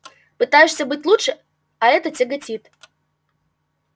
пытаешься быть лучше а это тяготит